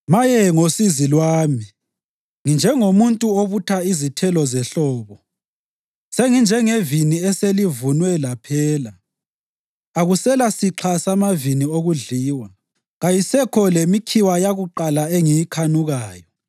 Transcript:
Maye ngosizi lwami! Nginjengomuntu obutha izithelo zehlobo senginjengevini eselivunwe laphela; akuselasixha samavini okudliwa, kayisekho lemikhiwa yakuqala engiyikhanukayo.